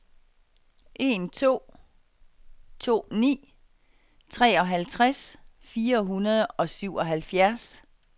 en to to ni treoghalvtreds fire hundrede og syvoghalvfjerds